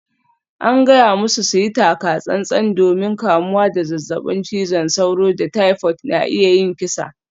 An gaya musu su yi taka-tsan-tsan domin kamuwa da zazzabin cizon sauro da typhoid na iya yin kisa.